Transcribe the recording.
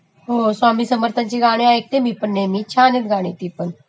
हो स्वामीं समर्थांची गाणी ऐकते नेहमी मी पण छान आहेत ती पण